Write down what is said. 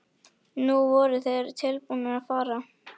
Nú voru þeir tilbúnir að fara.